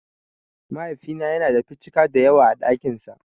Mahaifina yana da 'ficika' dayawa a ɗakin sa.